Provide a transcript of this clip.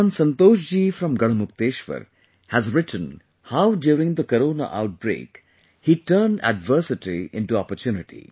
Shriman Santosh Ji from Garhmukteshwar, has written how during the Corona outbreak he turned adversity into opportunity